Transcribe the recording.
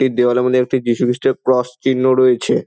এই দেওয়ালের মধ্যে একটি যিশু খ্রিস্টের ক্রস চিহ্ন রয়েছে।